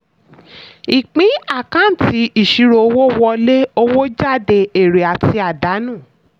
ìpín àkáǹtì: ìṣirò owó wọlé owó jáde èrè àti àdánù.